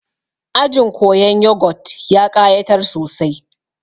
Ajin koyan yogut ya ƙayatar sosai